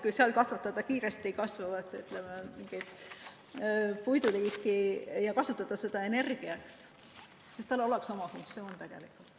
Kui seal kasvatada kiiresti kasvavat puuliiki ja kasutada seda energia tootmiseks, siis sellel oleks oma funktsioon.